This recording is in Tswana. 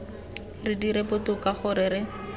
re dire botoka gore re